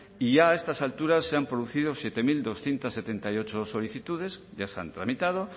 y ya a estas alturas se han producido siete mil doscientos setenta y ocho solicitudes ya se han tramitado